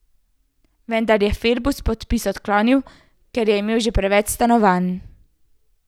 Vendar je Februs podpis odklonil, ker je imel že preveč stanovanj.